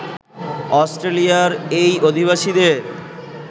অস্ট্রেলিয়ার এই অধিবাসীদের